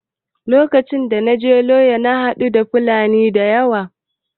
Lokacin da na je yola na haɗu da fulani da yawa